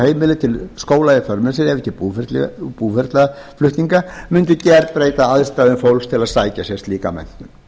heimili til skóla í för með sér ekki búferlaflutninga mundi gerbreyta aðstæðum fólks til að sækja sér slíka menntun